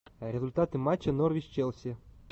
результаты матча норвич челси